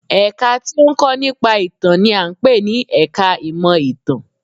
Ẹ̀ka tí ó ń kọ́ nípa ìtàn n i à ń pè ní ẹka ìmọ̀ ìtàn